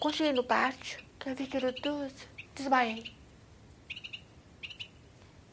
Quando cheguei no pátio, que eu vi que era tudo, desmaiei.